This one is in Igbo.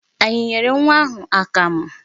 Anyị nyere nwa ahụ akamụ?